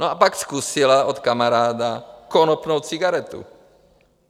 No a pak zkusila od kamaráda konopnou cigaretu.